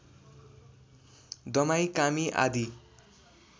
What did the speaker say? दमाई कामी आदि